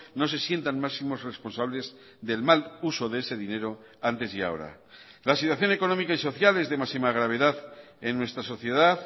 no se sientan máximos responsables del mal uso de ese dinero antes y ahora la situación económica y social es de máxima gravedad en nuestra sociedad